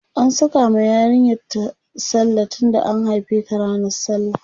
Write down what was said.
an Saka ma yarinyar ta sallah tunda an haife ta ranan sallah